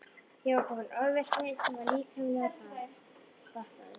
Hér var kominn ofviti sem var líkamlega fatlaður.